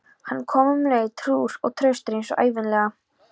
Hann kom um leið, trúr og traustur eins og ævinlega.